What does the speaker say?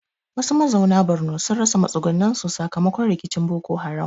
Wasu mazauna Borno sun rasa matsugunansu sakamakon rikicin Boko Haram.